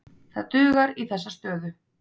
Það dugar í þessa stöðu.